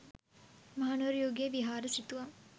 මහනුවර යුගයේ විහාර සිතුවම්